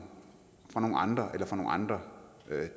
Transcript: andre eller fra nogle andre